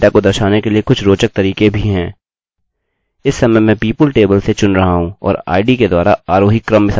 इस समय मैं people टेबलतालिकासे चुन रहा हूँ और id के द्वारा आरोही क्रम में सजा रहा हूँ